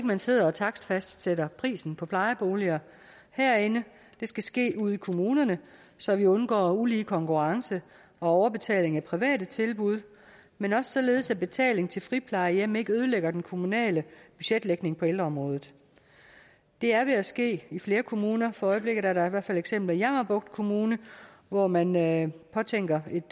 man sidder og takstfastsætter prisen på plejeboliger herinde det skal ske ude i kommunerne så vi undgår ulige konkurrence og overbetaling af private tilbud men også således at betaling til friplejehjem ikke ødelægger den kommunale budgetlægning på ældreområdet det er ved at ske i flere kommuner for øjeblikket der er da i hvert fald eksempler i jammerbugt kommune hvor man man påtænker et